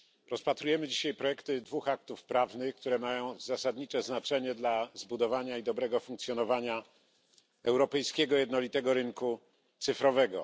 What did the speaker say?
Rozpatrujemy dzisiaj projekty dwóch aktów prawnych, które mają zasadnicze znaczenie dla zbudowania i dobrego funkcjonowania europejskiego jednolitego rynku cyfrowego.